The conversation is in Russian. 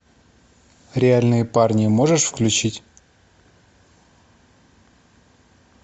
реальные парни можешь включить